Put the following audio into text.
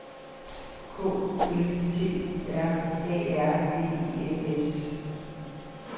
K U L T U R A R V E N S